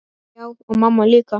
Já, og mamma líka.